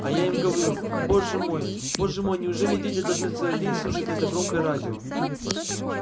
а я им говорю боже мой боже мой неужели дети должны целый день слушать это громкое радио